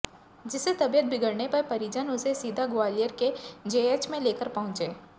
जिससे तबीयत बिगड़ने पर परिजन उसे सीधा ग्वालियर के जेएएच में लेकर पहुंचे